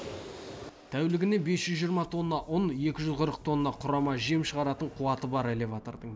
тәулігіне бес жүз жиырма тонна ұн екі жүз қырық тонна құрама жем шығаратын қуаты бар элеватордың